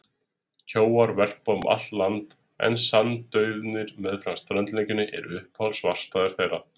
Kjóar verpa um allt land en sandauðnir meðfram strandlengjunni eru uppáhalds varpstaðir þeirra.